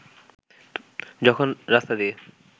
যখন রাস্তা দিয়ে